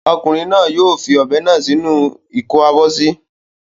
Ọmọkùnrin náà yóò fi ọ̀bẹ náà sí inú ìkó-abọ́sí.